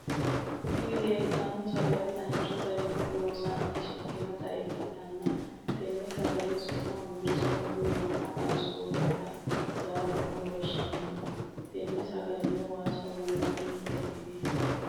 Tini leleitano sagale Danichu garrinni loosanite shiqqinota ikitana tene sagalleteno su’m birisame woy womma qanisonite yateni woshamno tene sagaleno wassa burunni chukineti.